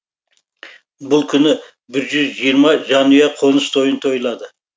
бұл күні бір жүз жиырма жанұя қоныс тойын тойлады